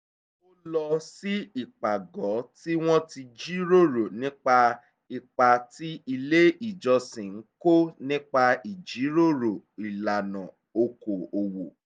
ó lọ sí ìpàgọ́ tí wọ́n ti jíròrò nípa ipa tí ilé ìjọsìn ń kó nípa ìjíròrò ìlànà oko òwò